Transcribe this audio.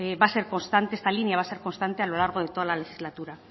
va a ser constante esta línea va a ser constante a lo largo de toda la legislatura